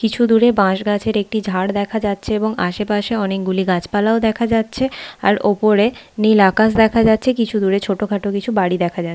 কিছু দূরে বাঁশ গাছের একটি ঝাড় দেখা যাচ্ছে এবং আশেপাশে অনেক গুলি গাছপালা ও দেখা যাচ্ছে আর ওপরে নীল আকাশ দেখা যাচ্ছে কিছু দূরে ছোটোখাটো কিছু বাড়ি দেখা যা--